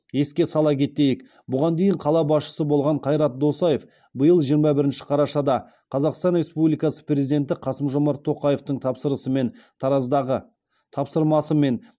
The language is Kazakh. еске сала кетейік бұған дейін қала басшысы болған қайрат досаев биыл жиырма бірінші қарашада қазақстан республикасы президенті қасым жомарт тоқаевтың тапсырысымен тараздағы тапсырмасымен